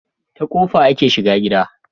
Ta kofa ake shiga gida